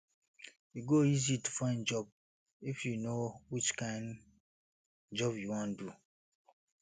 e go easy to find find job if yu know which kain job yu wan do